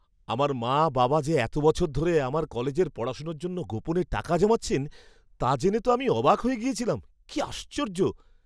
আমার মা বাবা যে এত বছর ধরে আমার কলেজের পড়াশোনার জন্য গোপনে টাকা জমাচ্ছেন তা জেনে তো আমি অবাক হয়ে গিয়েছিলাম। কি আশ্চর্য!